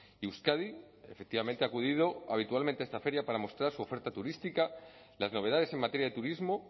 y euskadi efectivamente ha acudido habitualmente a esta feria para mostrar su oferta turística las novedades en materia de turismo